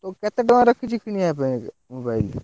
ତୁ କେତେ ଟଙ୍କା ରଖିଛୁ କିଣିବା ପାଇଁ ଏବେ mobile ?